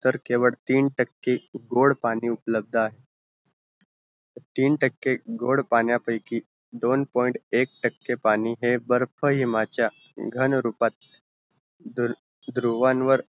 केवल तीन टके गोड पाणी उपलब्द आहे तीन टके गोड पाण्या पैकी दोन point एक टके पाणी है बर्फ हिमाचा घनरूपात ध्रु ध्रुवांवर